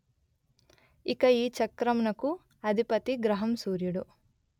ఇక ఈ చక్రంనకు అధిపతి గ్రహం సూర్యుడు